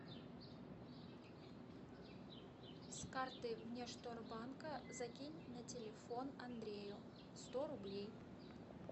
с карты внешторгбанка закинь на телефон андрею сто рублей